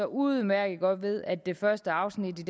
udmærket godt ved at det første afsnit i